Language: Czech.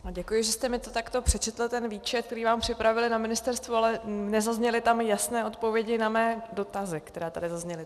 Děkuji, že jste mi to takto přečetl, ten výčet, který vám připravili na ministerstvu, ale nezazněly tam jasné odpovědi na mé dotazy, které tady zazněly.